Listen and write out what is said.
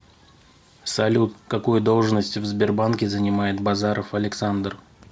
салют какую должность в сбербанке занимает базаров александр